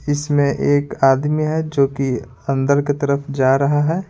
इसमें एक आदमी है जो कि अंदर की तरफ जा रहा है।